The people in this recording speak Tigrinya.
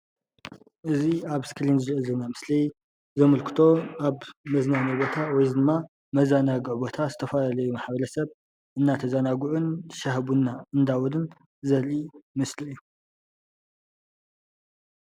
እዚ ኣብ እስክሪን ንሪኦ ዘለና ምስሊ ዘምክቶ ኣብ መዝናነዪ ቦታ ወይ ድማ መዘናግዒ ዝተፋላለዩ ማሕበረሰብ እንዳተዛናግዑን ሻሂ ቡና እንዳበሉን ዘርኢ ምስሊ እዩ፡፡